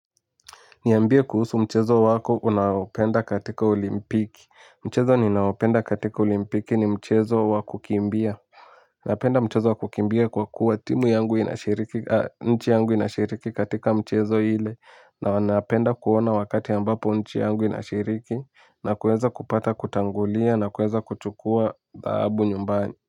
Niambie kuhusu mchezo wako unaopenda katika olimpiki. Mchezo ninaopenda katika olimpiki ni mchezo wa kukimbia. Napenda mchezo wa kukimbia kwa kuwa timu yangu inashiriki nchi yangu inashiriki katika michezo ile. Na napenda kuona wakati ambapo nchi yangu inashiriki na kuweza kupata kutangulia na kueza kuchukua dhahabu nyumbani.